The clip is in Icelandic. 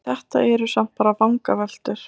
Þetta eru samt bara vangaveltur.